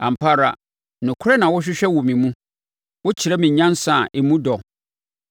Ampa ara nokorɛ na wohwehwɛ wɔ me mu. Wokyerɛ me nyansa a emu dɔ.